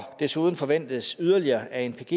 desuden forventes yderligere anpg